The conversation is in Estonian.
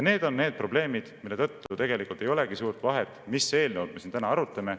Need on need probleemid, mille tõttu tegelikult ei olegi suurt vahet, mis eelnõu me siin täna arutame.